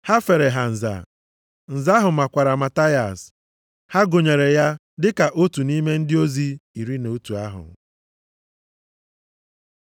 Ha fere ha nza. Nza ahụ makwara Mataias, ha gụnyere ya dị ka otu nʼime ndị ozi iri na otu ahụ.